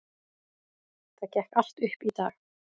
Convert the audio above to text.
Það gekk allt upp í dag.